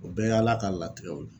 O bɛɛ ye Ala ka latigɛw de